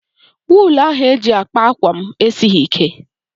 Wuulu ahụ eji kpaa ákwà m esighị ike.